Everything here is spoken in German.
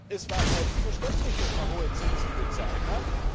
Es war selbstverständlich, dass man hohe Zinsen bezahlt hat.